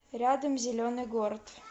рядом зеленый город